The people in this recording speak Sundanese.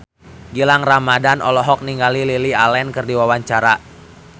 Gilang Ramadan olohok ningali Lily Allen keur diwawancara